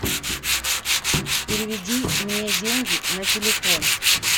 переведи мне деньги на телефон